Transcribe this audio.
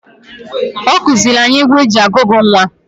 Ọ kụzịịlị anyị egwu e ji agụgụ nnwa.